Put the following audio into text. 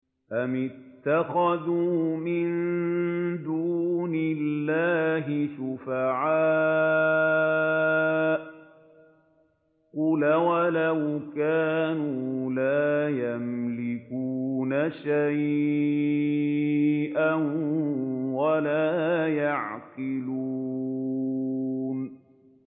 أَمِ اتَّخَذُوا مِن دُونِ اللَّهِ شُفَعَاءَ ۚ قُلْ أَوَلَوْ كَانُوا لَا يَمْلِكُونَ شَيْئًا وَلَا يَعْقِلُونَ